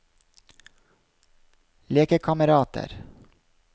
lekekamerater